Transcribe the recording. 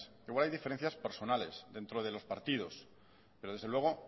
igual hay diferencias personales dentro de los partidos pero desde luego